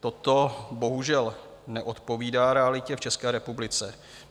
Toto bohužel neodpovídá realitě v České republice.